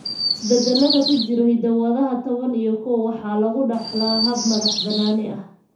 Isbeddellada ku jira hiddo-wadaha ABCB toban iyo kow ABCBafar waxaa lagu dhaxlaa hab madax-bannaani ah.